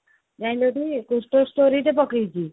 ଯାଈଲ ଟି ଗୋଟେ story ଟେ ପକେଇଛି